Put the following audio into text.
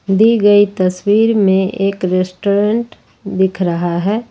दी गई तस्वीर में एक रेस्टोरेंट दिख रहा है।